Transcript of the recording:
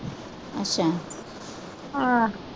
ਆਹ।